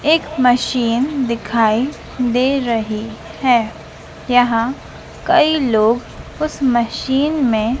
एक मशीन दिखाई दे रही है यहां कई लोग उसे मशीन में--